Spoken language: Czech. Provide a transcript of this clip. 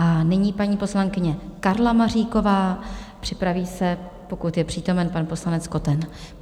A nyní paní poslankyně Karla Maříková, připraví se, pokud je přítomen, pan poslanec Koten.